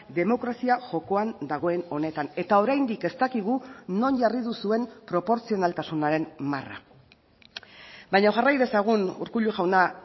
demokrazia jokoan dagoen honetan eta oraindik ez dakigu non jarri duzuen proportzionaltasunaren marra baina jarrai dezagun urkullu jauna